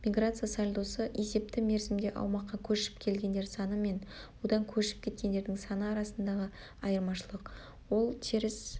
миграция сальдосы-есепті мерзімде аумаққа көшіп келгендер саны мен одан көшіп кеткендердің саны арасындағы айырмашылық ол теріс